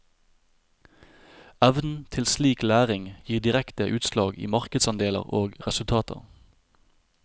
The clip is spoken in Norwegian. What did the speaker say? Evnen til slik læring gir direkte utslag i markedsandeler og resultater.